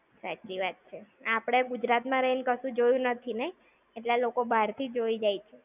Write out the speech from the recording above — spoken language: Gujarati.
સાચી વાત છે. આપણે ગુજરાત માં રહી ને કશું જોયું નથી ને? એટલું લોકો બારથી જોઈ જાય છે!